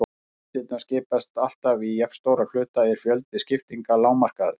Ef listarnir skiptast alltaf í jafnstóra hluta er fjöldi skiptinga lágmarkaður.